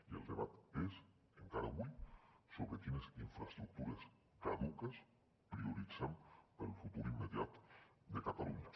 i el debat és encara avui sobre quines infraestructures caduques prioritzem per al futur immediat de catalunya